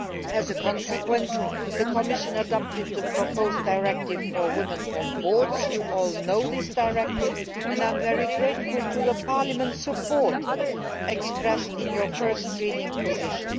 As a consequence, the Commission adopted the proposed Directive for Women on Boards you all know this directive and I am very grateful for Parliament's support, as expressed in your first reading position.